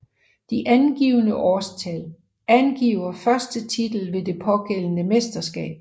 De angivne årstal angiver første titel ved det pågældende mesterskab